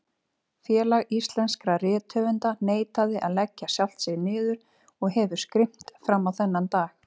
Félag íslenskra rithöfunda neitaði að leggja sjálft sig niður og hefur skrimt frammá þennan dag.